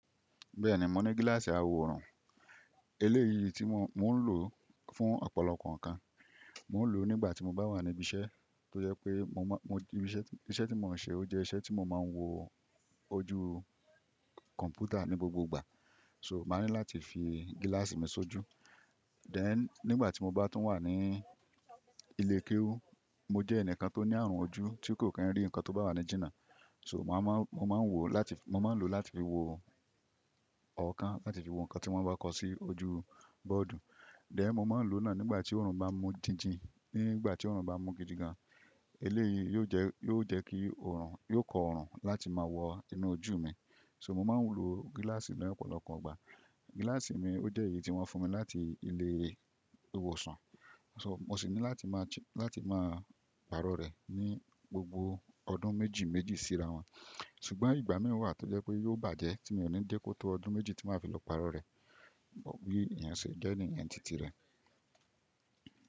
Bẹ́ẹ̀ni mò ní gílàsì àwò òórùn, eléyìí tí mò ń lò fún ọ̀pọ̀lọpọ̀ ǹkan. Mò ń lò ó nígbàtí mò bá wà níbí iṣẹ́ tó jẹ́ pé iṣẹ́ tí mò ń ṣe ó jẹ́ iṣẹ́ tí mò máa ń wo ojú kọ̀mpútà ní gbogbo ìgbà, so mà ní láti fi gílàsì mi sójú. Then nígbàtí mò bá tún wà ní ilé kéwú, mò jẹ́ ẹnìkan tó ní àrùn ojú tí kò kàn rí ǹkan tó bá wà ní jìnà, so mo máa ń lò láti fi wo ọ̀okan láti fi wo ǹkan tí wọ́n bá kọ sí ojú bọ́ọ̀dù. Then mò máa ń lò náà nígbàtí òórùn bá mú jìnjin, nígbàtí òórùn bá mú gidi gan, eléyìí yóò jẹ́ kí òórùn, yóò kọ́ òórùn láti máa wọ inú ojú mi. So mò máa ń lò gílàsì ní ọ̀pọ̀lọpọ̀ ìgbà. Gílàsì mi ó jẹ́ èyí tí wọ́n fún mi láti ilé ìwòsàn, so mò ṣì ní láti máa pàrọ̀ rẹ̀ ní gbogbo ọdún méjì méjì sí ráwọ̀n. Ṣùgbọ́n ìgbà mìn wà tó jẹ́ pé yóò bàjẹ́ tí mò ní dẹ́ kó tó ọdún méjì tí màá fi lọ pàrọ̀ rẹ̀. Bí èyen ṣe jẹ́ nìyen tìtì rẹ̀.